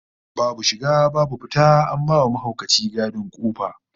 Babu shiga babu fita, an ba mahaukaci gadin kofa